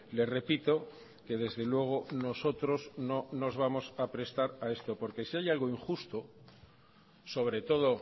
le repito que desde luego nosotros no nos vamos a prestar a esto porque si hay algo injusto sobre todo